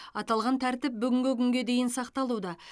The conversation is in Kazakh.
аталған тәртіп бүгінгі күнге дейін сақталуда